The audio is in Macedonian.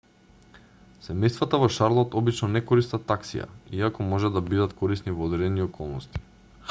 семејствата во шарлот обично не користат таксија иако можат да бидат корисни во одредени околности